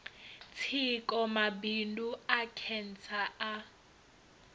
tsiko mabundu a khentsa a